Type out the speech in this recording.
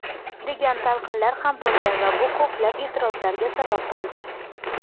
degan talqinlar ham bo‘lgan va bu ko‘plab eʼtirozlarga sabab bo‘ldi.